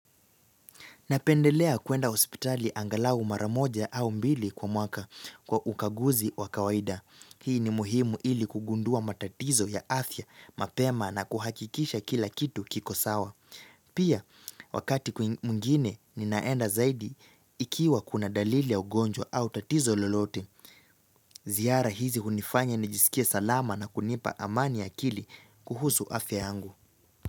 Napendelea kuenda hospitali angalau mara moja au mbili kwa mwaka kwa ukaguzi wa kawaida Hii ni muhimu ili kugundua matatizo ya afya mapema na kuhakikisha kila kitu kiko sawa Pia wakati mwingine ninaenda zaidi ikiwa kuna dalili ya ugonjwa au tatizo lolote Ziara hizi hunifanya nijiskie salama na kunipa amani akili kuhusu afya yangu.